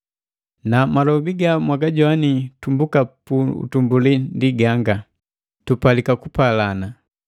Na malobi gamwagajoini tumbuka pu utumbuli ndi ganga: Tupalika kupalana.